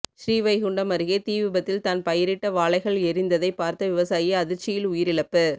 ஸ்ரீவைகுண்டம் அருகே தீ விபத்தில் தான் பயிரிட்ட வாழைகள் எரிந்ததை பார்த்த விவசாயி அதிர்ச்சியில் உயிரிழப்பு